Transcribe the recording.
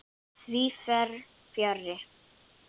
Því fer fjarri.